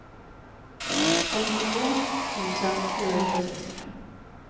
femtiotvå tusen fyrahundrasextiofem